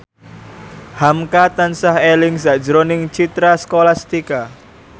hamka tansah eling sakjroning Citra Scholastika